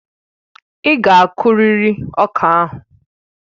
Ị́ ga akuriri ọka ahụ!